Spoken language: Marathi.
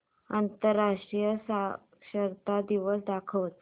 आंतरराष्ट्रीय साक्षरता दिवस दाखवच